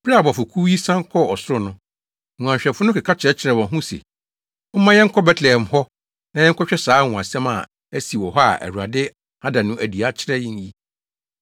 Bere a abɔfokuw yi san kɔɔ ɔsoro no, nguanhwɛfo no keka kyerɛkyerɛɛ wɔn ho wɔn ho se, “Momma yɛnkɔ Betlehem hɔ na yɛnkɔhwɛ saa anwonwasɛm a asi wɔ hɔ a Awurade ada no adi akyerɛ yɛn yi.”